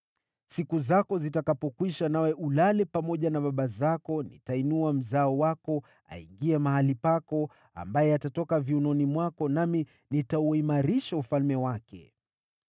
Siku zako zitakapokwisha nawe ulale pamoja na baba zako, nitainua mzao wako aingie mahali pako, ambaye atatoka viunoni mwako, nami nitauimarisha ufalme wake.